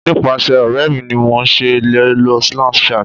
nipasẹ ọrẹ mi ni mo se le lo Snapchat